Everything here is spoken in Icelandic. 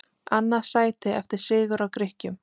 Annað sæti eftir sigur á Grikkjum